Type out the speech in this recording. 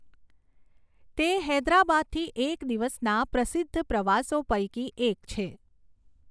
તે હૈદરાબાદથી એક દિવસના પ્રસિદ્ધ પ્રવાસો પૈકી એક છે.